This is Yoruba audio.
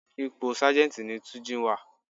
Ipò Sájẹ́ntì ní túnjí wà á.